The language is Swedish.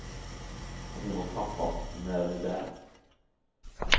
Och hemma hos pappa när ni är där.